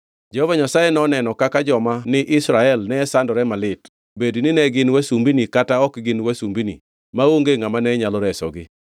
Jehova Nyasaye noneno kaka joma ni Israel ne sandore malit, bedni ne gin wasumbini kata ok gin wasumbini; maonge ngʼama ne nyalo resogi.